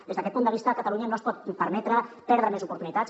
des d’aquest punt de vista catalunya no es pot permetre perdre més oportunitats